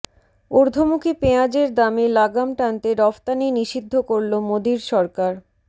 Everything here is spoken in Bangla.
ঊর্ধ্বমুখী পেঁয়াজের দামে লাগাম টানতে রফতানি নিষিদ্ধ করল মোদীর সরকার